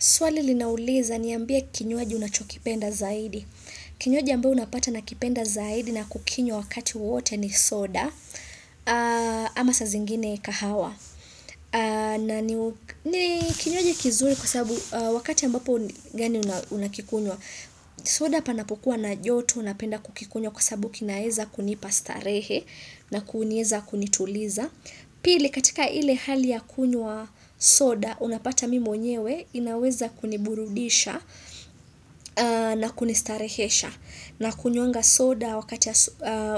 Swali linauliza ni ambie kinyoaji unachokipenda zaidi. Kinywaji ambia unapata na kipenda zaidi na kukinywa wakati wowote ni soda. Ama saa zingine kahawa. Kinywaji kizuri kwa sababu wakati ambapo gani unakikunwa. Soda panapukua na joto napenda kukikunwa kwa sababu kinaeza kunipastarehe na kunieza kunituliza. Pili katika ile hali ya kunywa soda unapata mimi mwenyewe inaweza kuniburudisha na kunistarehesha na kunywanga soda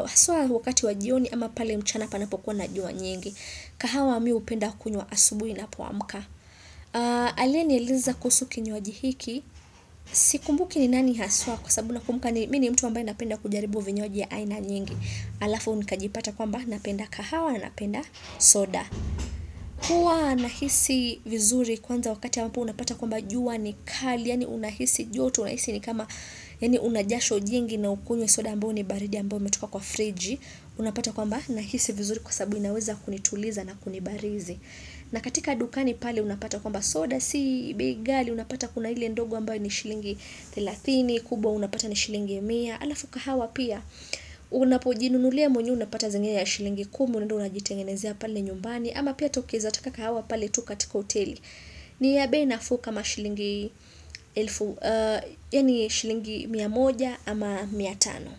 haswa wakati wajioni ama pale mchana panapokuwa na jua nyingi kahawa mi upenda kunywa asubuhi ninapomka. Aliyeniuliza kusuhu kinywaji hiki sikumbuki ni nani haswa kwa sababu kumka ni mini mtu wamba inapenda kujaribu vinyoji ya aina nyingi alafu unikajipata kwamba napenda kahawa na napenda soda. Kwa nahisi vizuri kwanza wakati ya ambapo unapata kwamba jua ni kali, yani unahisi jotu, unahisi ni kama yani unajasho jingi na ukunye soda mbo ni baridi mbo metuka kwa friji, unapata kwamba nahisi vizuri kwa sabu inaweza kunituliza na kunibarizi. Na katika dukani pali unapata kwamba soda si bei ghali unapata kuna hile ndogo ambayo ni shilingi therathini kubwa unapata ni shilingi mia alafu kahawa pia unapojinunulia mwenyewe unapata zingia ya shilingi kumi unaenda unaenda jitengenezia pali nyumbani ama pia tokeza taka hawa pale tu katiko hoteli ni ya bei nafuu kama shilingi, yaani shilingi mia moja ama mia tano.